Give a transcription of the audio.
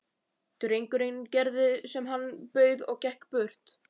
Drengurinn gerði sem hann bauð og gekk burt.